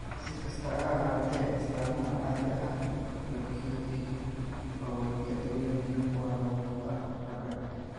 Si kastaba ha ahaatee, astaamuhu caadi ahaan way ka fudud yihiin oo way ka duwan yihiin kuwa lagu arko ragga.